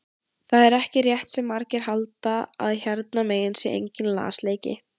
Það er ekki rétt sem margir halda að hérna megin sé enginn lasleiki.